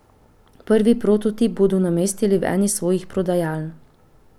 Prvi prototip bodo namestili v eni svojih prodajaln.